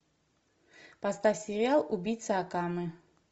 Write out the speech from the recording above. поставь сериал убийца акаме